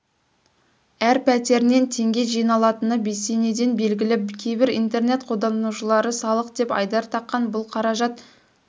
әр пәтерінен теңге жиналатыны бесенеден белгілі кейбір интернет қолданушылары салық деп айдар таққан бұл қаражат